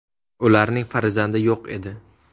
Ularning farzandi yo‘q edi.